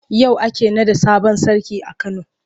Yau ake naɗa sabon sarki a Kano.